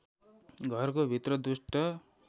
घरको भित्र दुष्ट